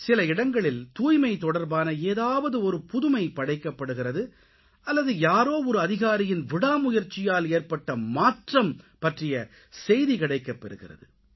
சில இடங்களில் தூய்மை தொடர்பான ஏதாவது ஒரு புதுமை படைக்கப்படுகிறது அல்லது யாரோ ஒரு அதிகாரியின் விடா முயற்சியால் ஏற்பட்ட மாற்றம் பற்றிய செய்தி கிடைக்கப்பெறுகிறது